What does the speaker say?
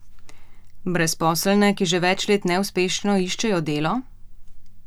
Brezposelne, ki že več neuspešno iščejo delo?